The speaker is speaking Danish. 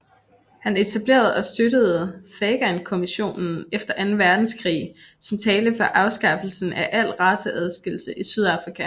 Han etablerede og støttede Fagankommissionen efter anden verdenskrig som talte for afskaffelsen af al raceadskillelse i Sydafrika